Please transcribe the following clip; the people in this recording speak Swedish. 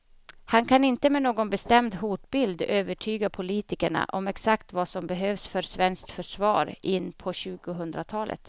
Han kan inte med någon bestämd hotbild övertyga politikerna om exakt vad som behövs för svenskt försvar in på tjugohundratalet.